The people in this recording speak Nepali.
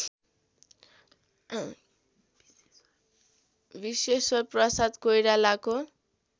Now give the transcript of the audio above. विश्वेश्वर प्रसाद कोइरालाको